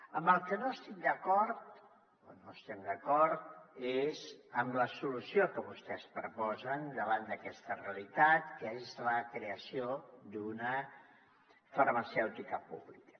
amb el que no estic d’acord o no estem d’acord és amb la solució que vostès proposen davant d’aquesta realitat que és la creació d’una farmacèutica pública